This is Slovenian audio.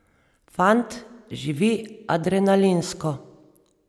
Fant živi adrenalinsko.